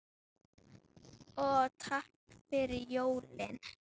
Og takk fyrir jólin.